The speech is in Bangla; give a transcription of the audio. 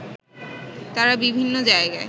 তারা বিভিন্ন জায়গায়